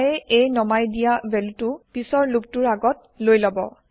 I এ এই নমাই দিয়া ভেলুটো পিছৰ লুপটো ৰ আগত লৈ লব